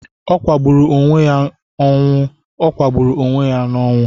Ọ kwugidere onwe-ya n'onwu, Ọ kwugidere onwe-ya n'onwu.